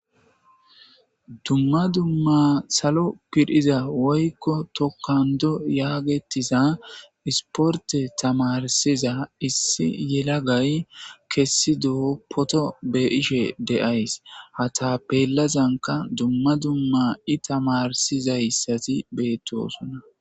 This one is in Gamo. dumma dumma salo piriza woykko tokando yaagetiza isporte tamarsiza issi yelagay kessido poto be7ashe de7ays hata pellazanka dumma dumma i tamarsizayssati beettosonna